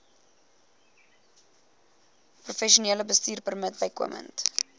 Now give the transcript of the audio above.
professionele bestuurpermit bykomend